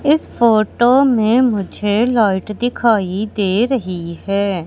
इस फोटो में मुझे लाइट दिखाई दे रही है।